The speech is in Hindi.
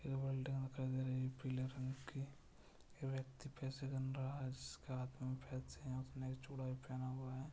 एक बिल्डिंग दिखाई दे रही है पीले रंग की एक व्यक्ति पैसे गिन रहा है जिसके हाथ में पैसे हैं उसने एक चूड़ा भी पहन पहना हुआ है।